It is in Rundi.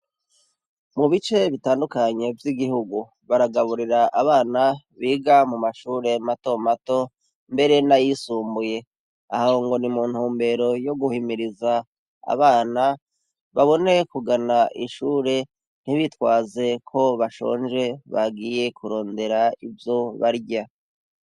Mu bice bitandukanye vy'igihugu, baragaburira abana biga mu mashure mato mato, mbere n'ayisumbuye. Aho ngo ni mu ntumbero yo guhimiriza abana babone kugana ishure, ntibitwaze ko bashonje bagiye kurondera ivyo barya.